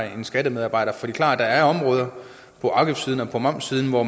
en skattemedarbejder for det er klart at der er områder på afgiftssiden og på momssiden hvor